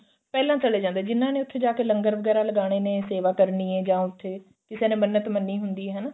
ਪਹਿਲਾਂ ਚਲੇ ਜਾਂਦੇ ਜਿੰਨਾ ਨੇ ਉੱਥੇ ਜਾਕੇ ਲੰਗਰ ਵਗੈਰਾ ਲਗਾਨੇ ਨੇ ਸੇਵਾ ਕਰਨੀ ਏ ਜਾਂ ਉੱਥੇ ਕਿਸੇ ਨੇ ਮੰਨਤ ਮੰਨੀ ਹੁੰਦੀ ਏ ਹਨਾ